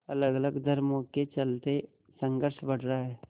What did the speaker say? अलगअलग धर्मों के चलते संघर्ष बढ़ रहा है